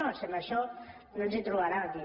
no si en això no ens hi trobaran aquí